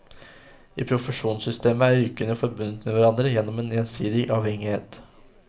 I profesjonssystemet er yrkene forbundet med hverandre gjennom en gjensidig avhengighet.